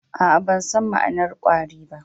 Aa, ban san ma'anar kwari ba.